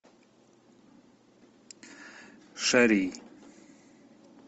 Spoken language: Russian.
шарий